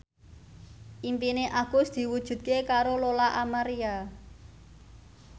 impine Agus diwujudke karo Lola Amaria